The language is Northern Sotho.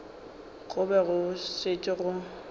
go be go šetše go